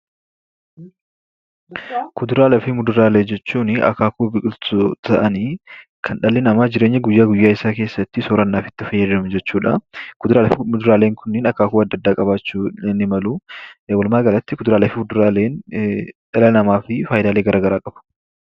Kuduraaleef muduraalee jechuunii akaakuu biqiltuu ta'anii kan dhalli namaa jireenya guyyaa guyyaa isaa keessatti soorannaf itti fayyadamu jechuudhaa. Kuduraaf muduraaleen kunniin akaakuu adda addaa qabaachuu ni maluu. Walumaa galatti kuduraaleef muduraaleen dhala namaafi faayidaalee garaa garaa qabu.